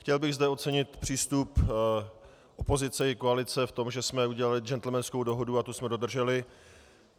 Chtěl bych zde ocenit přístup opozice i koalice v tom, že jsme udělali džentlmenskou dohodu a tu jsme dodrželi.